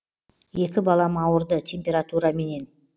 екі балам ауырды температураменен